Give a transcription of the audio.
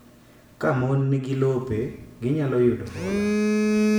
Ka mon nigi lope, ginyalo yudo hola.